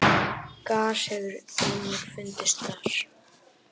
gas hefur einnig fundist þar